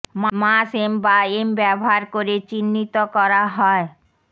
মাস M বা M ব্যবহার করে চিহ্নিত করা হয়